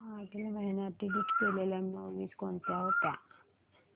मागील महिन्यात डिलीट केलेल्या मूवीझ कोणत्या होत्या